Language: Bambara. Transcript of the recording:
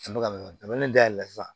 da yɛlɛ sisan